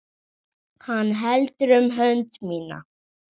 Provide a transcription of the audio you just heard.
Hann heldur um hönd mína.